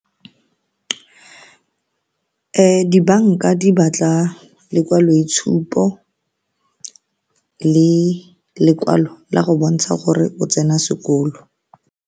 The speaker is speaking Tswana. Dibanka di batla lekwaloitshupo le lekwalo la go bontsha gore o tsena sekolo.